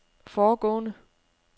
foregående